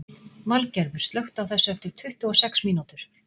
Valgerður, slökktu á þessu eftir tuttugu og sex mínútur.